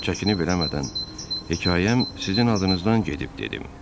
Çəkinib eləmədən hekayəm sizin adınızdan gedib dedim.